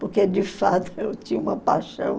porque, de fato, eu tinha uma paixão.